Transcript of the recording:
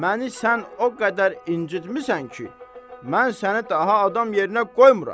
Məni sən o qədər incitmisən ki, mən səni daha adam yerinə qoymuram.